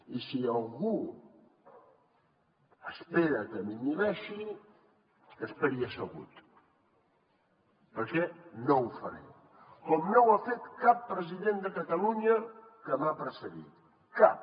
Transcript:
i si algú espera que m’inhibeixi que esperi assegut perquè no ho faré com no ho ha fet cap president de catalunya que m’ha precedit cap